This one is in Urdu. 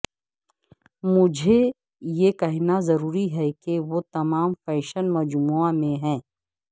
مجھے یہ کہنا ضروری ہے کہ وہ تمام فیشن مجموعہ میں ہیں